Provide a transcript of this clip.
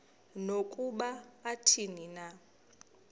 nokuba athini na